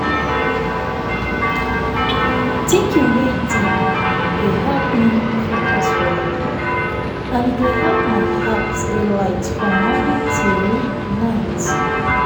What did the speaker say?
thinking wey deep dey help me focus weller and e dey help my heart dey light from morning till night.